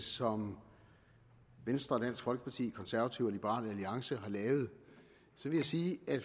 som venstre og dansk folkeparti konservative og liberal alliance har lavet vil jeg sige at